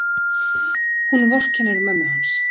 Hún vorkennir mömmu hans.